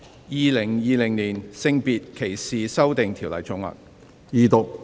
《2020年性別歧視條例草案》。